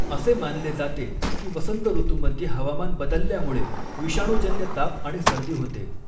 असे मानले जाते की वसंत ऋतूमध्ये हवामान बदलल्यामुळे विषाणूजन्य ताप आणि सर्दी होते.